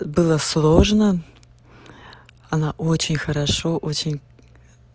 было сложно она очень хорошо очень